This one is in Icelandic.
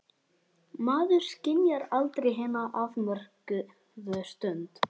Maður skynjar aldrei hina afmörkuðu stund.